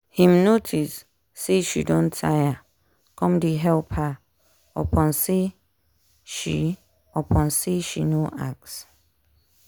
him notice say she don tire come dey help her upon say she upon say she no ask